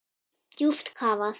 Djúpt kafað.